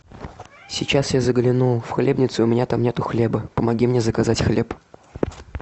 сейчас я заглянул в хлебницу и у меня там нет хлеба помоги мне заказать хлеб